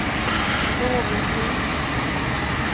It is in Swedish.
någonting